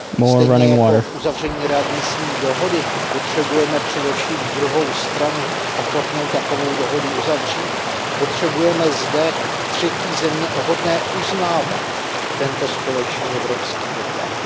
Stejně jako k uzavření readmisní dohody potřebujeme především druhou stranu ochotnou takovou dohodu uzavřít, potřebujeme zde třetí země hodné uznávat tento společný evropský doklad.